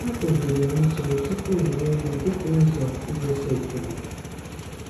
A kụziri m ichere tụpụ m rie nri dịka ụzọ igosi ekele.